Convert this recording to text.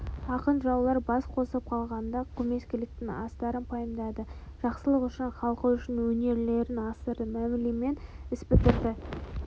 ақын-жыраулар бас қосып қалғанда көмескіліктің астарын пайымдады жақсылық үшін халқы үшін өнерлерін асырды мәмілемен іс бітірді